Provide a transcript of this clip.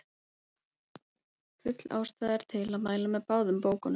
full ástæða er til að mæla með báðum bókunum